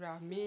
rà mí.